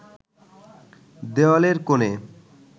দেওয়ালের কোণে